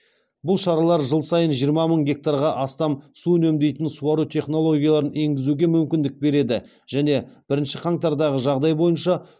бұл шаралар жыл сайын жиырма мың гектарға астам су үнемдейтін суару технологияларын енгізуге мүмкіндік береді және бірінші қаңтардағы жағдай бойынша